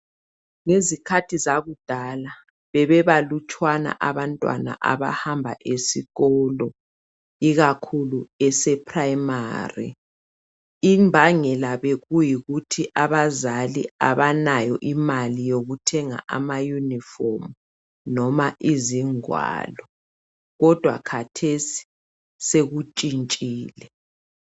Ngezikhathi zakudala bebebalutshwana abantwana abahamba esikolo ikakhulu ese prayimari. Imbangela bekuyikuthi abazali abanayo imali yokuthenga ama unifomu noma izingwalo. Kodwa khathesi sekutshintshile.